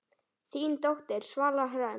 Þín dóttir, Svala Hrönn.